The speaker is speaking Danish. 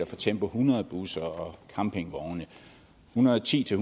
for tempo hundrede busser og campingvogne en hundrede og ti til